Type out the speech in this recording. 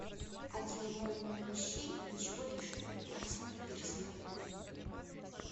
один ноль ноль вещей и ничего лишнего мартина пирсона